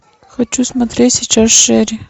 хочу смотреть сейчас шери